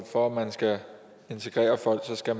for at man kan integrere folk skal